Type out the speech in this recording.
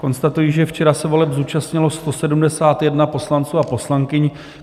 Konstatuji, že včera se voleb zúčastnilo 171 poslanců a poslankyň.